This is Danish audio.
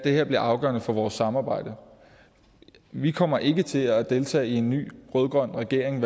her bliver afgørende for vores samarbejde vi kommer ikke til at deltage i en ny rød grøn regering